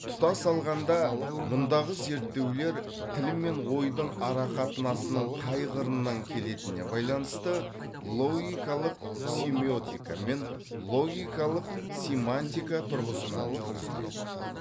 тұтас алғанда мұндағы зерттеулер тіл мен ойдың арақатынасының қай қырынан келетініне байланысты логикалық семиотика мен логикалық семантика тұрғысынан жүргізіледі